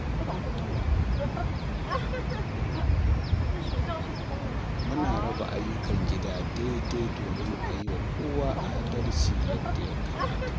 Muna raba ayyukan gida daidai domin a yi wa kowa adalci yadda ya kamata.